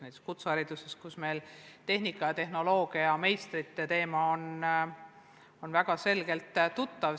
Näiteks kutsehariduses on tehnika ja tehnoloogia õpetamisel väheste meistrite teema kõigile tuttav.